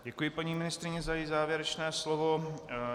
Děkuji paní ministryni za její závěrečné slovo.